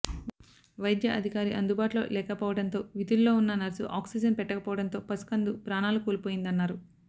వైద్య అధికారి అందుబాటులో లేకపో వడంతో విధుల్లో ఉన్న నర్సు ఆక్సిజన్ పెట్టకపోవడంతో పసి కందు ప్రాణాలు కోల్పోయిందన్నారు